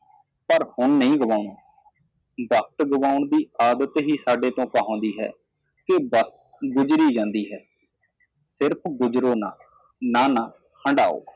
ਪਰ ਹੁਣ ਨਹੀ ਗਵਾਉਣਾ ਵਕ਼ਤ ਗਵਾਉਣ ਦੀ ਆਦਤ ਹੀ ਸਾਡੇ ਤੋ ਕਹਾਉਂਦੀ ਹੈ ਕਿ ਵਕਤ ਗੁਜਰੀ ਜਾਂਦੀ ਹੈ ਸਿਰਫ਼ ਗੁਜਰੋ ਨਾ ਨਾ ਨਾ ਹੰਡਾਓ